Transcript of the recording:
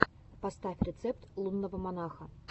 поставь рецепты лунного монаха